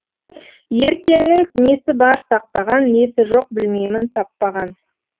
ертеңнің несі бар сақтаған несі жоқ білмеймін таппаған